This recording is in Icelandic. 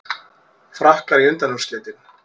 Frakkar í undanúrslitin